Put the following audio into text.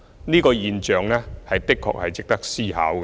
這個現象的確值得思考。